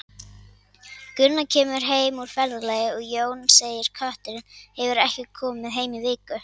Gunna kemur heim úr ferðalagi og Jón segir Kötturinn hefur ekki komið heim í viku.